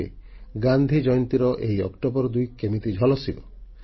ଦେଖିବେ ଗାନ୍ଧି ଜୟନ୍ତୀର ଏହି ଅକ୍ଟୋବର 2 କେମିତି ଝଲସିବ